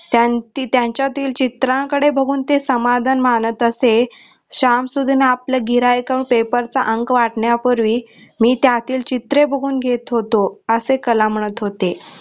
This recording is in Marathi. ती त्यांच्यातील चित्रांकडे बघुन ते समाधान मनात असे शाम सुधन आपलं गिऱ्हाईकांना paper चा अंक वाटण्या पूर्वी मी त्यातील चित्रे बघुन घेत होतो असे कलाम म्हणत होते